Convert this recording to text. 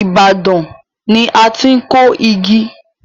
Ibadan ni a ti kọ igi.